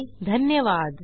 सहभागासाठी धन्यवाद